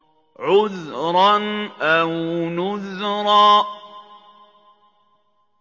عُذْرًا أَوْ نُذْرًا